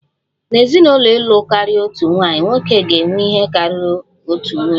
N'ezinụlọ ịlụ karịa otu nwaanyị, nwoke ga-enwe ihe karịrị otu nwunye